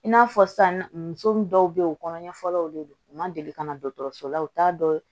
I n'a fɔ san muso min dɔw be ye o kɔnɔ ɲɛfɔlɔw de don u ma deli ka na dɔgɔtɔrɔso la u t'a dɔn